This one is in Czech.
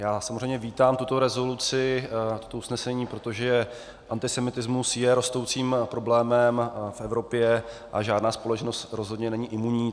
Já samozřejmě vítám tuto rezoluci, to usnesení, protože antisemitismus je rostoucím problémem v Evropě a žádná společnost rozhodně není imunní.